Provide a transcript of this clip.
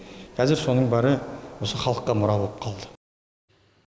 қазір соның бәрі осы халыққа мұра болып қалды